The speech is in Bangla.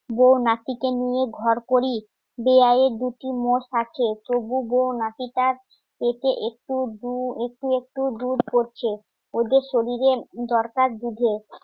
বৌ নাতিকে নিয়ে ঘর করি দুটি মোষ আছে একটু দু একে একটু দুধ পড়ছে ওদের শরীরে দরকার দুধে